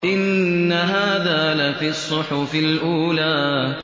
إِنَّ هَٰذَا لَفِي الصُّحُفِ الْأُولَىٰ